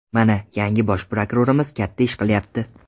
Mana, yangi bosh prokurorimiz katta ish qilyapti.